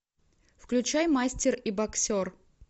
включай мастер и боксер